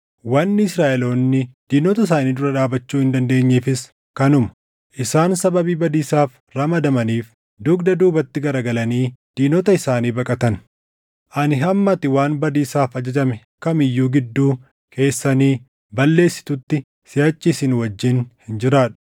Wanni Israaʼeloonni diinota isaanii dura dhaabachuu hin dandeenyeefis kanuma; isaan sababii badiisaaf ramadamaniif dugda duubatti garagalanii diinota isaanii baqatan. Ani hamma ati waan badiisaaf ajajame kam iyyuu gidduu keessanii balleessitutti siʼachi isin wajjin hin jiraadhu.